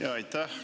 Aitäh!